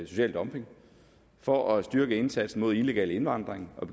social dumping for at styrke indsatsen mod illegal indvandring og